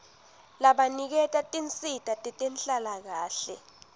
labaniketa tinsita tetenhlalakahle